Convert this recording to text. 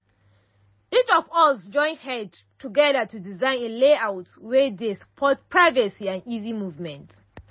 each of us join head together to design a layout wey dey support privacy and easy movement.